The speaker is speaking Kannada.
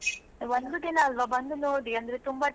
ಒಂದು ದಿನ ಅಲ್ವಾ ಬಂದು ನೋಡಿ.